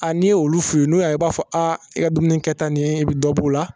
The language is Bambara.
A n'i y'olu f'u ye n'u y'a ye u b'a fɔ a e ka dumuni kɛta nin e be dɔ b'o la